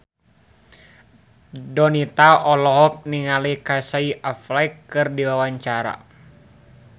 Donita olohok ningali Casey Affleck keur diwawancara